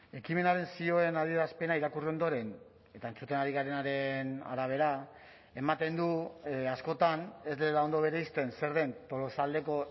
ekimenaren zioen adierazpena irakurri ondoren eta entzuten ari garenaren arabera ematen du askotan ez dela ondo bereizten zer den tolosaldeko